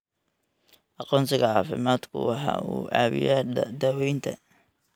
Aqoonsiga caafimaadku waxa uu caawiyaa daaweynta.